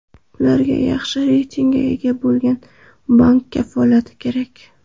Ularga yaxshi reytingga ega bo‘lgan bank kafolati kerak.